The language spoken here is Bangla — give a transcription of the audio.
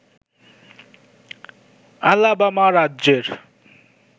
আলাবামা রাজ্যের